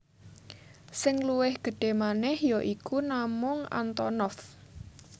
Sing luwih gedhé manèh ya iku namung Antonov